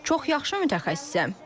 Çox yaxşı mütəxəssisəm.